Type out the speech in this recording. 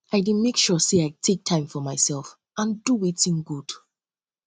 i dey make um sure say i take time for myself um and do wetin dey um good